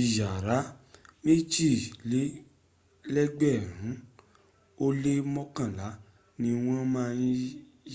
ìyára méjìlélẹ̀gbẹrin ó lé mọ́kànlá ni wọ́n má ń